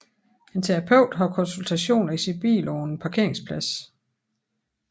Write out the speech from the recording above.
En terapeut har konsultationer i sin bil på en parkeringsplads